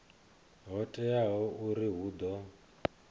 ho teaho uri hu ḓo